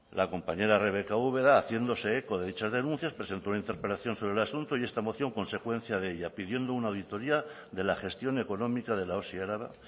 la compañera rebeka ubera haciéndose eco de dichas denuncias presentó una interpelación sobre el asunto y esta moción consecuencia de ella pidiendo una auditoría de la gestión económica de la osi araba